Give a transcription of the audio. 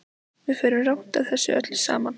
Við förum rangt að þessu öllu saman.